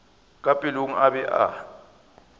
ka pelong a be a